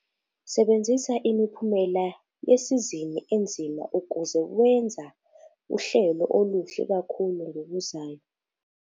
Sebenzisa imiphumela yesizini enzima ukuze wenza uhlelo oluhle kakhulu ngokuzayo.